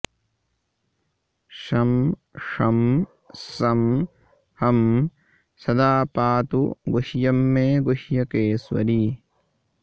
शं षं सं हं सदा पातु गुह्यं मे गुह्यकेश्वरी